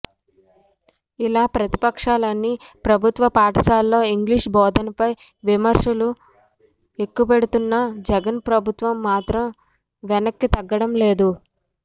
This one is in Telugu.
ఇలా ప్రతిపక్షాలన్ని ప్రభుత్వ పాఠశాలల్లో ఇంగ్లీష్ బోధనపై విమర్శలు ఎక్కుపెడుతున్నా జగన్ ప్రభుత్వం మాత్రం వెనక్కితగ్గడం లేదు